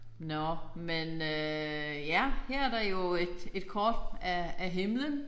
Nåh men øh ja her er der jo et et kort af af himlen